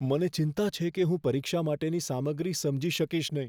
મને ચિંતા છે કે હું પરીક્ષા માટેની સામગ્રી સમજી શકીશ નહીં.